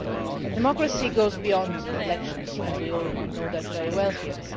But democracy goes beyond elections, and we all know that very well here.